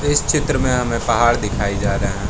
इस चित्र में हमें पहाड़ दिखाई जा रहा है।